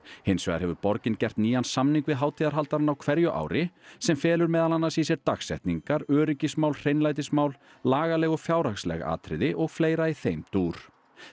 hins vegar hefur borgin gert nýjan samning við hátíðarhaldarana á hverju ári sem felur meðal annars í sér dagsetningar öryggismál hreinlætismál lagaleg og fjárhagsleg atriði og fleira í þeim dúr